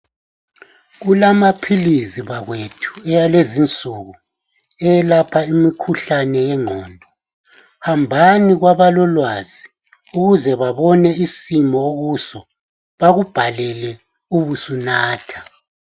Kulamaphilisi bakwethu akulezi nsuku ayelapha imikhuhlane yengqondo hambani kwabalolwazi ukuze babone isimo okuso bakubhalele ubusunatha.